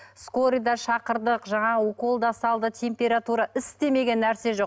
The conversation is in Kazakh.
скорый да шақырдық жаңағы укол да салды температура істемеген нәрсе жоқ